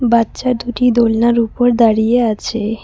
বাচ্চা দুটি দোলনার উপর দাঁড়িয়ে আছে।